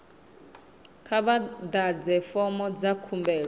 kha vha ḓadze fomo dza khumbelo